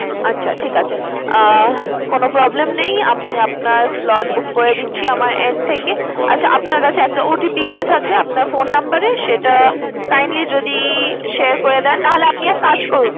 আচ্ছা ঠিক আছে। আহ কোনো problem নেই, আমি আপনার slot book করে দিচ্ছি আমার end থেকে। আচ্ছা আপনার কাছে একটা OTP গিয়ে থাকবে আপনার phone number এ, সেটা kindly যদি share করে দেন। নাহলে আপনি এক কাজ করুন।